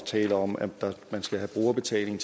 tale om at man skal have brugerbetaling